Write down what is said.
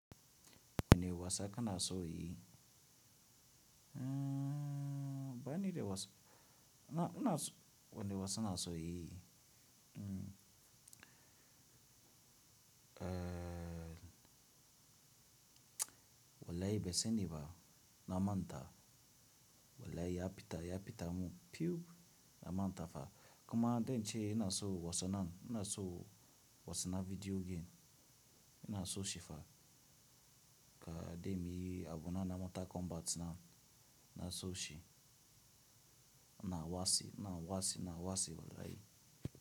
Wane wasa ka na so yayi? Mmm, banida wasa, ina, na so, wani wasa na so yi? Mmm, eh, wallahi bai sani ba na manta. Wallahi ya pita, ya pita mun pyup na manta fa. Kuma dai in ce ina so wasa nan, ina so wasa na video game, ina so shi fa. Ka dai muyi abu na na Mortal Kombat nan, na so shi. Na wasi, na wasi, na wasi wallahi.